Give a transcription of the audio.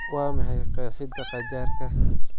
Waa maxay qeexidda qajaarka?